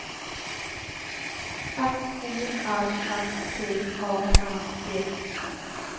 F O R S T A N D